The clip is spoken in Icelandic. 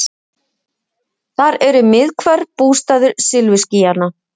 Þar eru miðhvörf, bústaður silfurskýjanna.